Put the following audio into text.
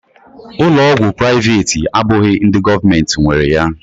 Ụlọ ọgwụ privati abụghị ndị gọọmenti nwere ya